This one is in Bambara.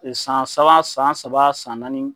San saba, san saba, san naani